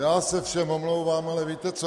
Já se všem omlouvám, ale víte co?